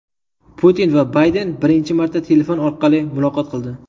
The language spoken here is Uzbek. Putin va Bayden birinchi marta telefon orqali muloqot qildi.